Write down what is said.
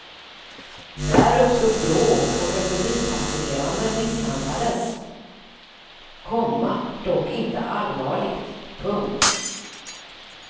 Där uppstod bråk och en förbipasserande misshandlades, komma dock inte allvarligt. punkt